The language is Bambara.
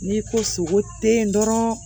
N'i ko sogo te yen dɔrɔn